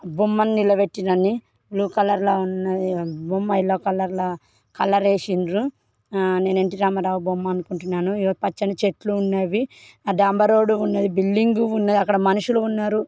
బొమ్మని నిలబెట్టిండ్రని blue colour లో ఉన్న బొమ్మ ఎల్లో కలర్ లో కలరేసిండ్రు ఆ నేను ఎన్టీ రామారావు బొమ్మ అనుకుంటున్నాను పచ్చని చెట్లు ఉన్నవి ఆ డాంబర్ రోడ్డు ఉన్నది బిల్డింగు ఉంది. అక్కడ మనుషులు ఉన్నారు.